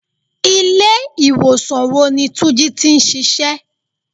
Ilé ìwòsàn wo ni túnjí tí ń ṣíṣe?